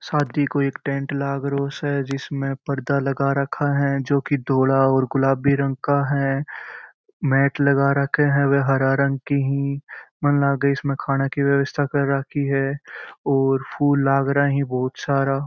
साथ ही एक कोई टैंट लाग रहो से जिसमे पर्दा लगा रखा है जो की धोला और गुलाबी रंग का है मेट लगा राखे है व हरा रंग की ही मन लागे इसमें खाने की व्यवस्था कर राखी है और फूल लाग रहा है बहुत सारा।